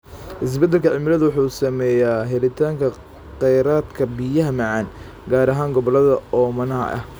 Isbeddelka cimiladu wuxuu saameeyaa helitaanka kheyraadka biyaha macaan, gaar ahaan gobollada oomanaha ah.